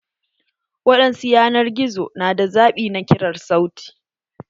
Waɗansu yanar gizo na da zaɓi na kirar sauti.